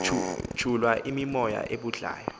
tshulwa yimimoya ebhudlayo